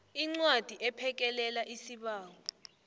incwadi ephekelela isibawo